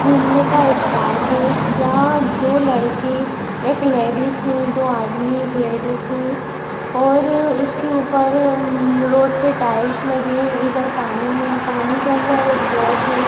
घूमने का स्पॉट है जहाँ दो लड़के एक लेडिज हैं दो आदमी हैं एक लेडिज हैं और-र इसके ऊपर मँ-मम रोड पे टाइल्स लगे हैं इधर पानी है पानी के अंदर एक बोट है।